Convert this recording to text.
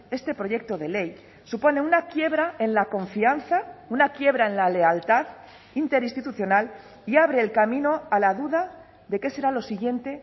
este proyecto de ley supone una quiebra en la confianza una quiebra en la lealtad interinstitucional y abre el camino a la duda de qué será lo siguiente